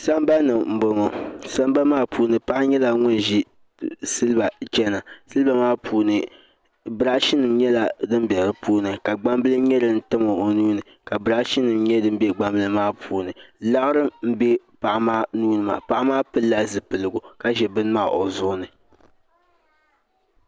Sambani n bɔŋɔ sambani maa puuni paɣi yɛla ŋun zi siliba chɛna siliba maa puuni nrashi nim yɛla dimbɛ di puuni ka gbanbili yɛ din tam o nuu ni ka brashi nim yɛ din bɛ gbanbili maa puuni laɣiri n bɛ paɣi maa nuuni maa paɣi maa pilila zipiligu ka zi bini maa o zuɣu ni.